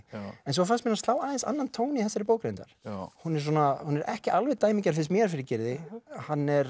en svo fannst mér hann slá aðeins annan tón í þessari bók reyndar hún er hún er ekki alveg dæmigerð finnst mér fyrir Gyrði hann er